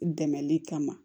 Dɛmɛli kama